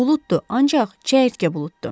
Buluddur, ancaq çəyirtkə buluddur.